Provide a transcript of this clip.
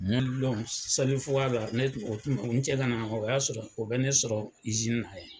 don selifuga la, ne cɛ ka na, o y'a sɔrɔ, o bɛ ne sɔrɔ na